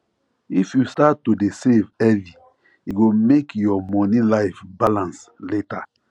if you start to dey save early e go make your money life balance later